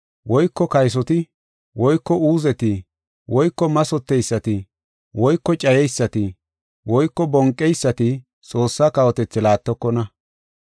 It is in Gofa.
woyko kaysoti woyko uuzeti woyko mathoteysati woyko cayeysati woyko bonqeysati Xoossa kawotethi laattokona.